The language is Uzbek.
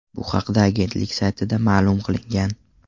Bu haqda agentlik saytida ma’lum qilingan .